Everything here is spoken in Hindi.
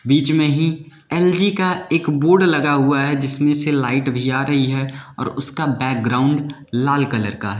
बीच में ही एलजी का एक बोर्ड लगा हुआ है जिसमें से लाइट भी आ रही है और उसका बैकग्राउंड लाल कलर का है।